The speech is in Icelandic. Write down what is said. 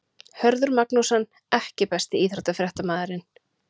Hörður Magnússon EKKI besti íþróttafréttamaðurinn?